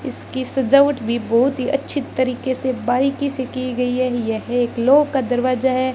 इसकी सजावट भी बहोत ही अच्छे तरीके से बारीकी से की गई है यह एक लॉक का दरवाजा है।